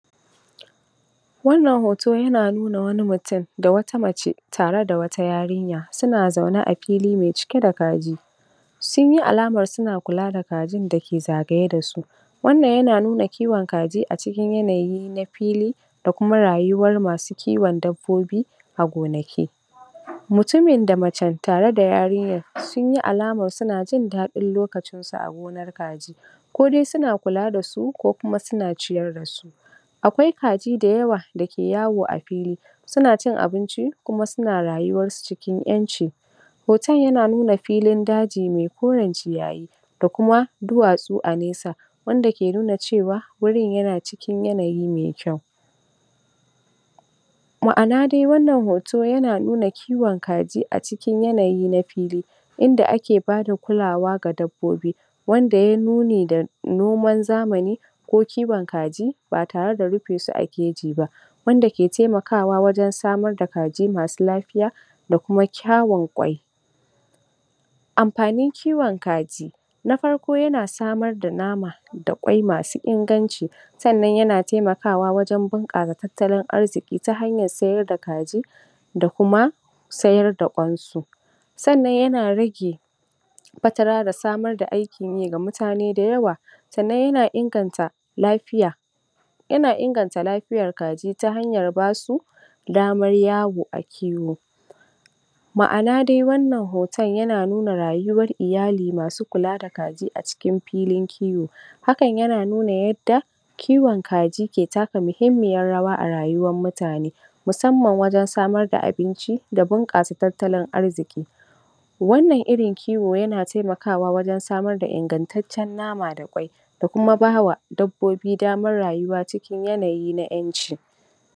Wannan hoto yana nuna wani mutum da wata mace tare da wata yarinya suna zaune a fili mai cike da kaji, sun yi alaman suna kula da kajin ne da ke zagaye da su. Wannan yana nuna kiwon kaji a cikin yanayin fili da kuma rayuwar na masu kiwon dabbobi a gonaki. Mutumin da macen tare da yarinyan sun yi alaman suna jin daɗin lokacin su a gonar kajin, ko dai suna kula da su ko kuma suna ciyar da su. Akwai kaji da yawa da ke yawo a fili suna cin abinci kuma suna rayuwarsu cikin ƴanci. Hoton yana nuna filin daji mai koren ciyayi da kuma duwatsu a nesa wanda ke nuna cewa wurin yana cikin yanayi mai kyau. Maʼana dai wannan hoton yana nuna kiwon kaji cikin yanayi na fili inda ake bayar da kulawa ga dabbobi inda ya yi nuni da noman zamani ko kiwon kaji ba tare da rufe su a keji ba, annan yana taimakawa wajen samar da kaji masu lafiya da kuma kyawun ƙwai. Amfanin kiwon kaji, na farko yana samar da nama da kwai masu inganci sannan yana taimakawa wajen bunƙasa tattalin arziki ta hanyar sayar da kaji da kuma sayar da ƙwansu. Sannan yana rage fatara da samar da aikin yi ga mutane da yawa sannan yana inganta lafiya. Yana inganta lafiyar kaji ta hanyar ba su damar yawo a fili. Maʼana dai wannan hoton yana nuna rayuwar iyali masu kula da kaji a cikin filin kiwo. Hakan yana nuna yadda kiwon kaji ke taka muhimmiyan rawa a rayuwar mutane musamman wajen samar da abinci da bunƙasa tattalin arziki. Wannan irin kiwo yana taimakawa wajen samar da ingantaccen nama da kwai da kuma ba wa dabbobi damar rayuwa cikin yanayi na ƴanci.